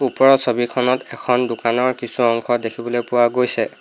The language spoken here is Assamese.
ওপৰত ছবিখনত এখন দোকানৰ কিছু অংশ দেখিবলৈ পোৱা গৈছে।